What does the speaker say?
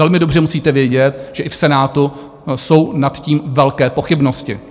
Velmi dobře musíte vědět, že i v Senátu jsou nad tím velké pochybnosti.